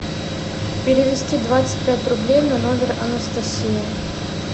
перевести двадцать пять рублей на номер анастасии